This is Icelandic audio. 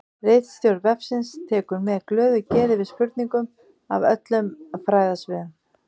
Ritstjórn vefsins tekur með glöðu geði við spurningum af öllum fræðasviðum.